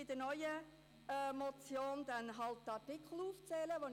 In der neuen Motion werde ich also die betreffenden Artikel aufzählen.